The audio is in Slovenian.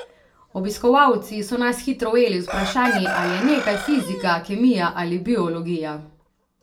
Obiskovalci so nas hitro ujeli z vprašanji, ali je nekaj fizika, kemija ali biologija.